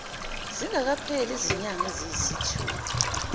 zingakapheli izinyanga eziyisithupha